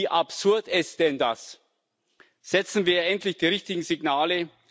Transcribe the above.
Wie absurd ist denn das? Setzen wir endlich die richtigen Signale!